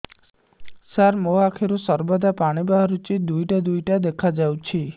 ସାର ମୋ ଆଖିରୁ ସର୍ବଦା ପାଣି ବାହାରୁଛି ଦୁଇଟା ଦୁଇଟା ଦେଖାଯାଉଛି